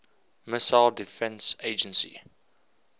missile defense agency